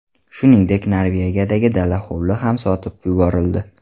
Shuningdek Norvegiyadagi dala-hovli ham sotib yuborildi.